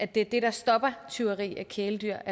det der stopper tyveri af kæledyr